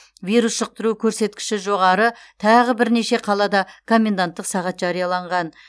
вирус жұқтыру көрсеткіші жоғары тағы бірнеше қалада коменданттық сағат жарияланған